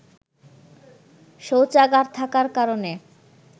শৌচাগার থাকার কারণে